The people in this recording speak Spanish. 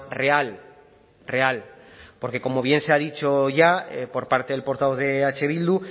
real real porque como bien se ha dicho ya por parte del portavoz de eh bildu